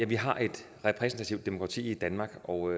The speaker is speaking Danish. vi har et repræsentativt demokrati i danmark og